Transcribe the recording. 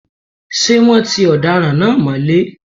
Ṣé wọ́́n ti ọ̀daràn náà mọ́lé?